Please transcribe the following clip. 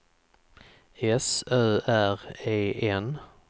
S Ö R E N